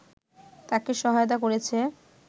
তাকে সহায়তা করেছে